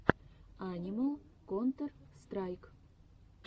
анимал контер страйк